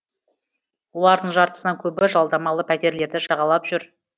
олардың жартысынан көбі жалдамалы пәтерлерді жағалап жүр